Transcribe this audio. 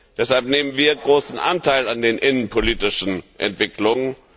Deshalb nehmen wir großen Anteil an den innenpolitischen Entwicklungen.